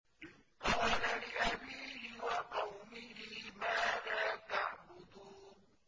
إِذْ قَالَ لِأَبِيهِ وَقَوْمِهِ مَاذَا تَعْبُدُونَ